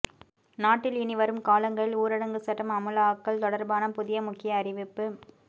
நாட்டில் இனி வரும் காலங்களில் ஊரடங்கு சட்டம் அமுலாக்கல் தொடர்பான புதிய முக்கிய அறிவிப்பு